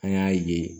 An y'a ye